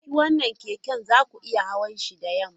Kiki wannan keken! za ku iya hawan shi da yamma!